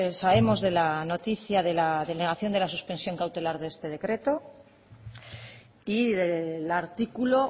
sabemos de la noticia de la denegación de la suspensión cautelar de este decreto y del artículo